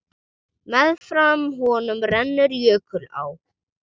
Meðfram honum rennur jökulá.